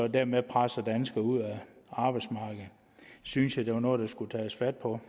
dermed presser danskere ud af arbejdsmarkedet det synes jeg er noget der skulle tages fat på